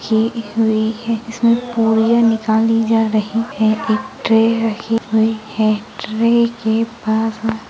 इसमें पूरियां निकाली जार रही हैं एक ट्रे रखी हुई है ट्रे के पास ----